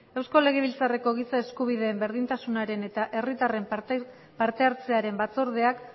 eusko legebiltzarreko giza eskubideen berdintasunaren eta herritarren partehartzearen batzordeak